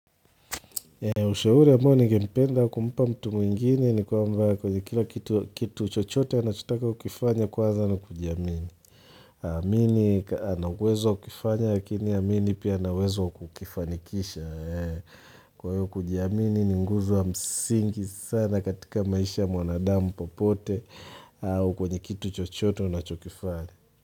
Ushauri ambao ningependa kumpa mtu mwingine ni kwamba kwenye kila kitu chochote anachotaka kukifanya kwanza ni kujiamini. Aamini ana uwezo wa kuifanya lakini amini pia ana uwezo wa kukifanikisha. Kwa hiyo kujiamini ni nguzo wa msingi sana katika maisha ya mwanadamu popote au kwenye kitu chochote anachokifanya.